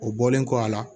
O bɔlen kɔ a la